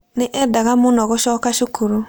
Nĩ eendaga mũno gũcoka cukuru.